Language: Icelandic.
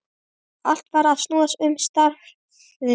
Allt varð að snúast um starfið.